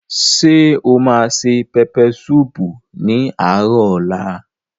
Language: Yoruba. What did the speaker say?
Ṣé o ma se pẹpẹ súùpù ní àárò ọ̀la?